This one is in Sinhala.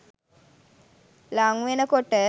ළං වෙන කොට